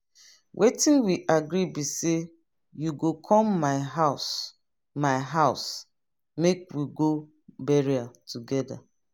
wetin we agree be say you go come my house my house make we go burial together